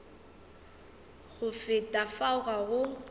go feta fao ga go